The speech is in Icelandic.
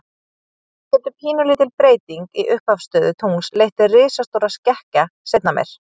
Þannig getur pínulítil breyting í upphafsstöðu tungls leitt til risastórra skekkja seinna meir.